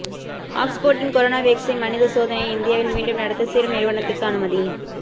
ஆக்ஸ்போர்டின் corona vaccine மனித சோதனையை இந்தியாவில் மீண்டும் நடத்த சீரம் நிறுவனத்துக்கு அனுமதி